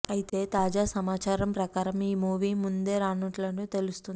అయితే తాజా సమాచారం ప్రకారం ఈ మూవీ ముందే రానున్నట్లు తెలుస్తోంది